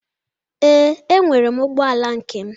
Ee, enwere m ụgbọ ala nkem.